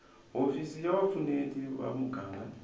hofisi ya vupfuneti va muganga